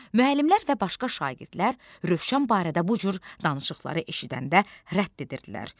Müəllimlər və başqa şagirdlər Rövşən barədə bu cür danışıqları eşidəndə rədd edirdilər.